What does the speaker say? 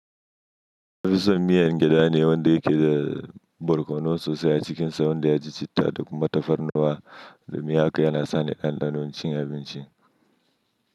Sunfi son miyan gyada ne wanda yake da barkonon sosai a cikinsa wanda ya ji citta da kuma tafarnuwa da miya kai yana sani ɗanɗanon cin abinci.